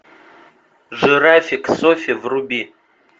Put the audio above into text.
жирафик софи вруби